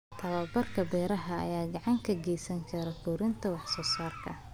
Tababarka beeraha ayaa gacan ka geysan kara kordhinta wax soo saarka.